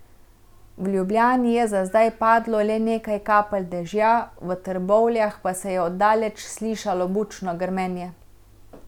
V Ljubljani je za zdaj padlo le nekaj kapelj dežja, v Trbovljah pa se je od daleč slišalo bučno grmenje.